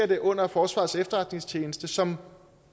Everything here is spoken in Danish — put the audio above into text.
det under forsvarets efterretningstjeneste som